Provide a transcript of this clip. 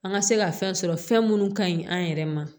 An ka se ka fɛn sɔrɔ fɛn minnu ka ɲi an yɛrɛ ma